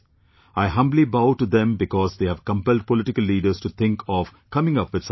I humbly bow to them because they have compelled political leaders to think of coming up with something new